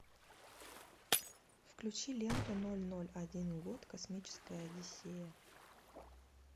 включи ленту ноль ноль один год космическая одиссея